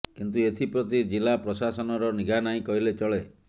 କିନ୍ତୁ ଏଥିପ୍ରତି ଜିଲ୍ଲା ପ୍ରଶାସନର ନିଘା ନାହିଁ କହିଲେ ଚଳେ